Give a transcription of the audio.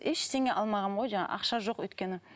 ештеңе алмағанмын ғой жаңағы ақша жоқ өйткені